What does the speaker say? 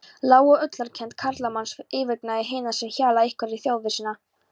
Lág og ullarkennd karlmannsrödd yfirgnæfir hinar sem hjala einhverja þjóðvísuna.